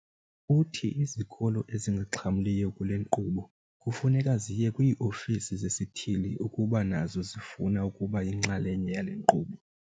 Uthi izikolo ezingaxhamliyo kule nkqubo kufuneka ziye kwii-ofisi zesithili ukuba nazo zifuna ukuba yinxalenye yale nkqubo.